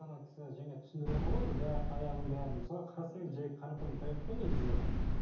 ана кісі жаңа түсіндіріватыр ғой енді бәрі таяғын бәрін мысалы қарасаңыз жай қарапайым таяқ қой негізі